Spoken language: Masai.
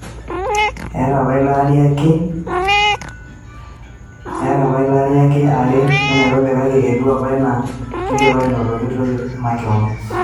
Eeta apa ilari ake aare te nairobi kake etiu apa enaa keidipa anotoki toki emakeon.